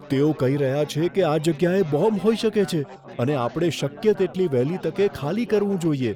તેઓ કહી રહ્યા છે કે આ જગ્યાએ બોમ્બ હોઈ શકે છે અને આપણે શક્ય તેટલી વહેલી તકે ખાલી કરવું જોઈએ.